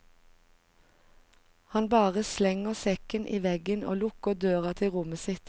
Han bare slenger sekken i veggen og lukker døra til rommet sitt.